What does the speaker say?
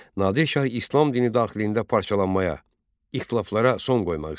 Nadir Şah İslam dini daxilində parçalanmaya, ixtilaflara son qoymaq istəyirdi.